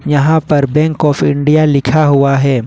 यहां पर bank of India लिखा हुआ है।